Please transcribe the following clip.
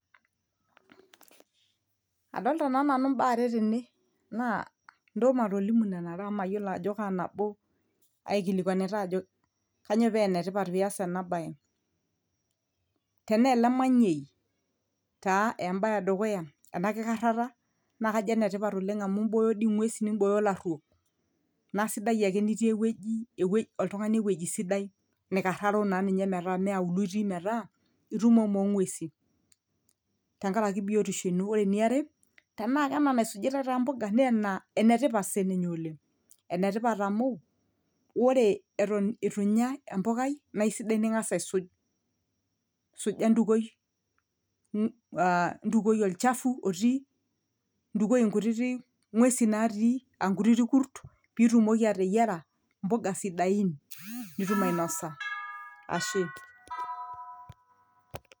adolta naa nanu imbaa are tene naa ntoo matolimu nena are amu mayiolo ajo kaa nabo aikilikuanitae ajo kanyio paa enetipat piyas ena baye tenaa ele manyei taa embaye edukuya ena kikarrata naa kajo enetipat oleng amu imbooyo dii ing'uesin nimbooyo ilaruok naa sidai ake nitii ewueji ewueji, oltung'ani ewuejii sidai nikarraro naa ninye metaa mee auluo itii metaa itumomo ong'uesi tenkaraki biotisho ino ore eniare tenaa kena naisujitae taa imboga naa ena enetipat sininye oleng enetipat amu wore eton etu inya empukai naa isidai ning'as aisuj suja ntukuoi uh ntukuoi olchafu otii ntukuoi inkutitik ng'uesi natii ankutiti kurt pitumoki ateyiara imbuga sidain nitum ainosa ashe.